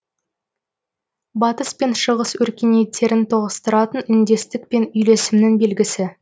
батыс пен шығыс өркениеттерін тоғыстыратын үндестік пен үйлесімнің белгісі